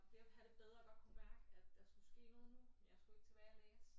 Var ved at have det bedre og godt kunne mærke at der skulle ske noget nu jeg skulle ikke tilbage og læse